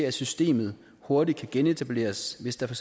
at systemet hurtigt kan genetableres hvis der for